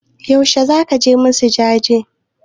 Yaushe zaka je musu jaje?